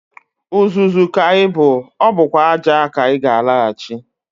Uzuzu ka ị bụ, ọ bụkwa ájá ka ị ga-alaghachi.